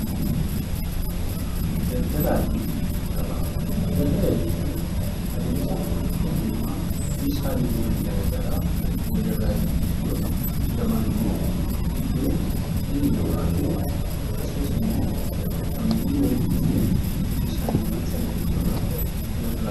Daldala jechuun adeemsa dhalli namaa meeshaalee garaagaraa walirraa itti bitu yoo ta'u, gabaan immoo iddoo dhalli namaa fi akkasumas namoonni walitti dhufee meeshaalee sana walirraa bitudha.